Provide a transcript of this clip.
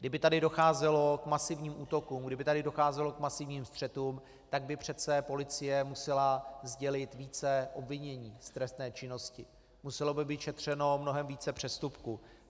Kdyby tady docházelo k masivním útokům, kdyby tady docházelo k masivním střetům, tak by přece policie musela sdělit více obvinění z trestné činnosti, muselo by být šetřeno mnohem více přestupků.